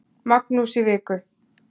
Magnús í viku.